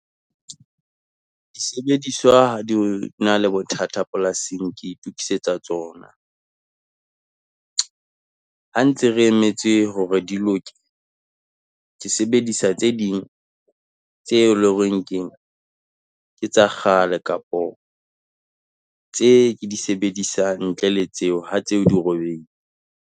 Disebediswa ha di na le bothata polasing, ke itokisetsa tsona. Ha ntse re emetse hore di loke, ke sebedisa tse ding tse e leng ho reng keng, ke tsa kgale, kapo tse ke di sebedisang ntle le tseo ha tseo dirobeile.